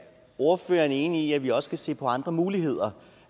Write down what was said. ordføreren enig i at vi også skal se på andre muligheder